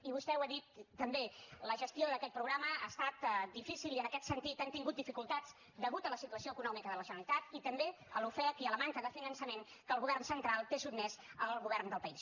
i vostè ho ha dit també la gestió d’aquest programa ha estat difícil i en aquest sentit hem tingut dificultats a causa de la situació econòmica de la generalitat i també a l’ofec i a la manca de finançament a què el govern central té sotmès el govern del país